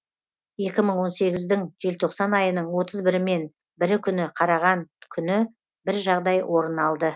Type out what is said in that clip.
екі мың он сегіздің желтоқсан айының отыз бірімен бірі күні қараған күні бір жағдай орын алды